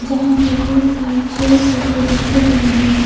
यहां पर बहोत सारे चेयर टेबल रखे गए हैं।